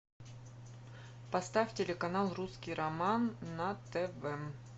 поставь телеканал русский роман на тв